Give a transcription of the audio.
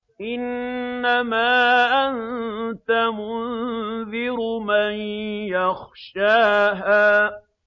إِنَّمَا أَنتَ مُنذِرُ مَن يَخْشَاهَا